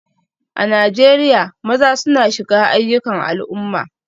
A Najeriya, maza suna shiga ayyukan al'umma